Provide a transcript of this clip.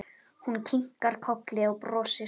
Hún kinkar kolli og brosir.